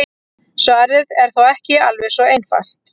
Svarið er þó ekki alveg svo einfalt.